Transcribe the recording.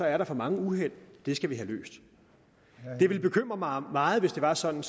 er der for mange uheld og det skal vi have løst det ville bekymre mig meget hvis det var sådan